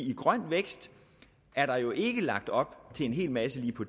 i grøn vækst er der jo ikke lagt op til en hel masse på